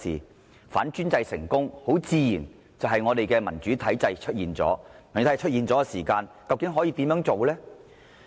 當反專制成功後，民主體制自然會出現，屆時會如何呢？